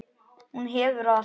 Hún hefur allt.